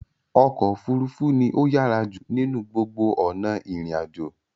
Ọkọ̀ òfurufú ní o yàrá jù ninu gbó ona irin àjò.